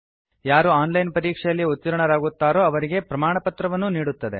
ಯಾರು online ಪರೀಕ್ಷೆಯಲ್ಲಿ ಉತ್ತೀರ್ಣರಾಗುತ್ತಾರೋ ಅವರಿಗೆ ಪ್ರಮಾಣಪತ್ರವನ್ನೂ ನೀಡುತ್ತದೆ